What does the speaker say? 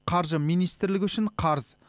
қаржы министрілігі үшін қарыз